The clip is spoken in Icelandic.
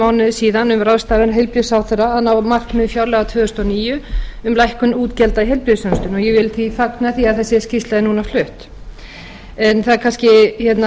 mánuði síðan um ráðstöfun heilbrigðisráðherra að ná markmiðum fjárlaga árið tvö þúsund og níu um lækkun útgjalda í heilbrigðisþjónustunni ég vil því fagna því að þessi skýrsla skuli nú flutt en það er